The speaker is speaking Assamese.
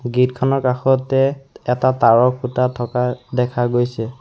গেট খনৰ কাষতে এটা তাঁৰৰ খুটা থকা দেখা গৈছে।